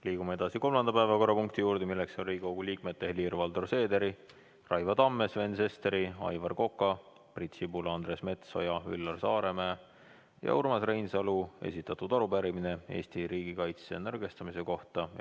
Liigume edasi kolmanda päevakorrapunkti juurde, milleks on Riigikogu liikmete Helir-Valdor Seederi, Raivo Tamme, Sven Sesteri, Aivar Koka, Priit Sibula, Andres Metsoja, Üllar Saaremäe ja Urmas Reinsalu esitatud arupärimine Eesti riigikaitse nõrgestamise kohta.